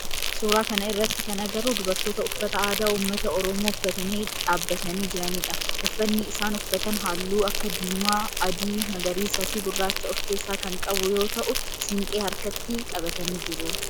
Suuraa kana irratti kan agarru dubartoota uffata aadaa ummata oromoo uffatanii dhaabbatanii jiranidha. Uffanni isaan uffatan halluu akka diimaa, adii, magariisaa fi gurraacha of keessaa kan qabu yoo ta'u siinqee harkatti qabatanii jiru.